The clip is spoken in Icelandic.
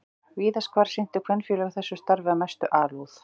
Víðast hvar sinntu kvenfélög þessu starfi af mestri alúð.